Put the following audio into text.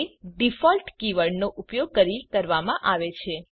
તે ડિફોલ્ટ કીવર્ડનો ઉપયોગ કરી કરવામાં આવે છે